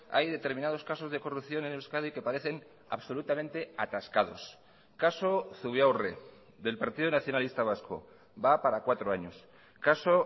hay determinados casos de corrupción en euskadi que parecen absolutamente atascados caso zubiaurre del partido nacionalista vasco va para cuatro años caso